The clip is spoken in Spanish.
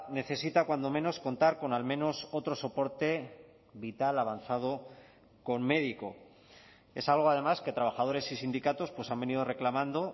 necesita cuando menos contar con al menos otro soporte vital avanzado con médico es algo además que trabajadores y sindicatos han venido reclamando